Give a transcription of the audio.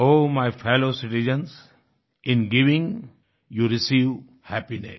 O my fellow citizens in giving you receive happiness